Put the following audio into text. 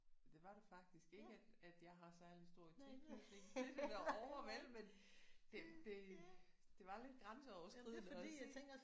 Det var det faktisk ikke at at jeg har særlig stor tilknytning til det derovre vel men det det det var lidt grænseoverskridende at se